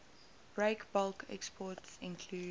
breakbulk exports include